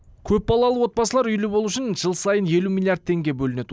көпбалалы отбасылар үйлі болу үшін жыл сайын елу миллиард теңге бөлінеді